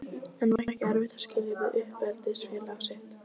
En var ekki erfitt að skilja við uppeldisfélag sitt?